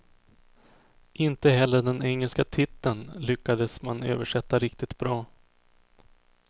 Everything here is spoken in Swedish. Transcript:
Inte heller den engelska titeln lyckades man översätta riktigt bra.